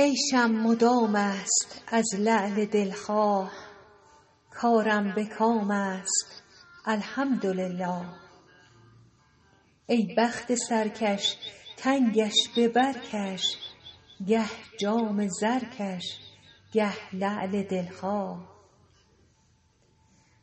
عیشم مدام است از لعل دل خواه کارم به کام است الحمدلله ای بخت سرکش تنگش به بر کش گه جام زرکش گه لعل دل خواه